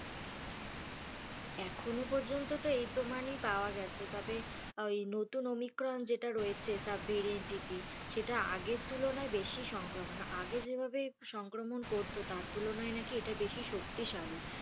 এখনও পর্যন্ততো এই প্রমাণই পাওয়া গেছে, তবে ঐ নতুন ওমিক্রন যেটা রয়েছে sub variantiy সেটা আগের তুলনায় বেশি সংক্রমণ মানে আগে যেভাবে সংক্রমণ করতো তার তুলনায় নাকি এটা বেশি শক্তিশালী।